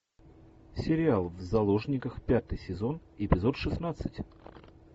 сериал в заложниках пятый сезон эпизод шестнадцать